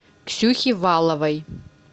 ксюхе валовой